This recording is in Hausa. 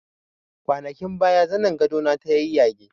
Kwanakin baya zanin gado na ta yayyage